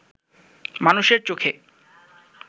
মানুষের চোখে